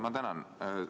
Ma tänan!